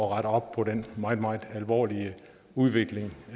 rette op på den meget meget alvorlige udvikling